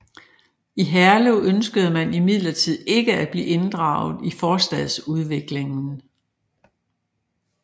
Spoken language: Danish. I Herlev ønskede man imidlertid ikke at blive inddraget i forstadsudviklingen